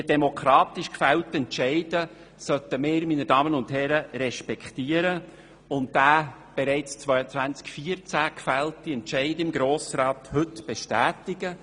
Meine Damen und Herren, diese demokratisch zustande gekommenen Entscheide sollten wir respektieren und den im Jahr 2014 vom Grossen Rat gefällten Entscheid heute bestätigen.